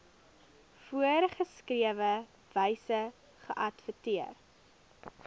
voorgeskrewe wyse geadverteer